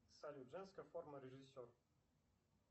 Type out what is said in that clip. салют женская форма режиссер